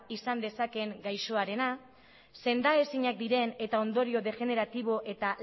izan dezakeena gaixoarena sendaezinak diren eta ondorio degeneratibo eta